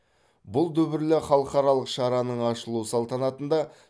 бұл дүбірлі халқаралық шараның ашылу салтанатында